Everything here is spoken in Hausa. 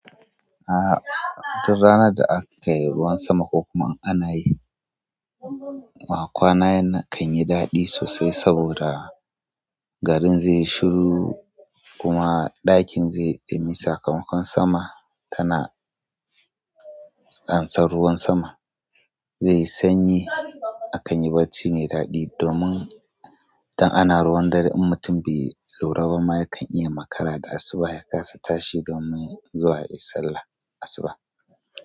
A duk ranar da aka yi ruwan sama ko kuma ana yi, ma kwana yana kan yi daɗi sosai saboda garin zaiyi shiru kuma ɗakin zai yi ɗumi. Sakamakon sama tana amsan ruwan sama zai yi sanyi akan yi barci mai daɗi. Domin idan ana ruwan dare, in mutum bai lura ba ma yakan iya makara da asuba ya kasa tashi domin zuwa yayi sallar asuba.